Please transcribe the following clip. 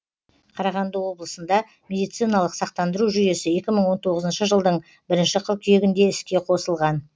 қарағанды облысында медициналық сақтандыру жүйесі екі мың он тоғызыншы жылдың бірінші қыркүйегінде іске қосылған